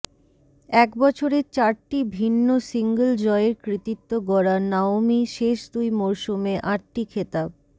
এক বছরে চারটি ভিন্ন সিঙ্গল জয়ের কৃতিত্ব গড়া নাওমি শেষ দুই মরসুমে আটটি খেতাব